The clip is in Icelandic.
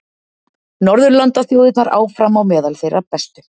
Norðurlandaþjóðirnar áfram á meðal þeirra bestu